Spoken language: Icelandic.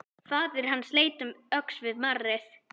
Faðir hans leit um öxl við marrið.